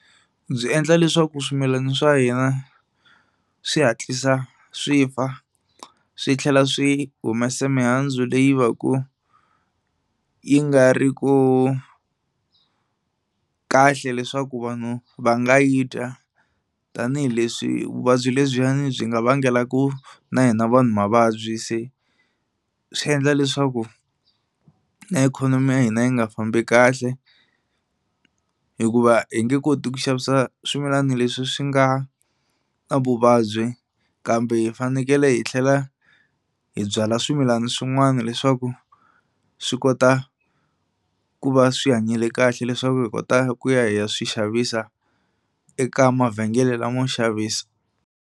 Byi endla leswaku swimilana swa hina swi hatlisa swi fa swi tlhela swi humesa mihandzu leyi va ku yi nga ri ku kahle leswaku vanhu va nga yi dya tanihileswi vuvabyi lebyiyani byi nga vangelaku na hina vanhu mavabyi. Se swi endla leswaku na ikhonomi ya hina yi nga fambi kahle hikuva hi nge koti ku xavisa swimilana leswi swi nga na vuvabyi kambe hi fanekele hi tlhela hi byala swimilana swin'wani leswaku swi kota ku va swi hanyile kahle leswaku hi kota ku ya hi ya swixavisa eka mavhengele lamo xavisa.